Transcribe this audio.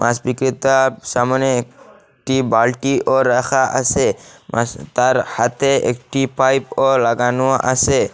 মাস বিক্রেতার সামোনে একটি বালটিও রাখা আসে মাস তার হাতে একটি পাইপও লাগানো আসে ।